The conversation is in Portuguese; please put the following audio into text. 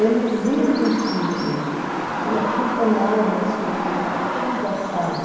Eles iam para os sítios, aí acompanhavam as famílias, conversavam.